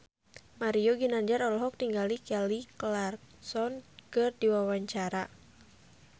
Mario Ginanjar olohok ningali Kelly Clarkson keur diwawancara